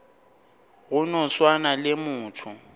go no swana le motho